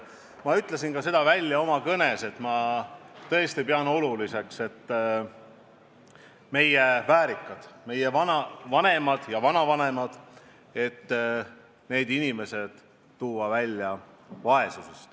Ma ütlesin seda ka oma kõnes, et ma tõesti pean oluliseks, et meie väärikad, meie vanemad ja vanavanemad, saaks vaesusest välja tuua.